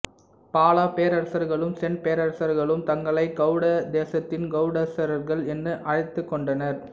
பாலப் பேரரசர்களும் சென் பேரரசர்களும் தங்களை கௌட தேசத்தின் கௌடேஸ்வரர்கள் என அழைத்துக் கொண்டனர்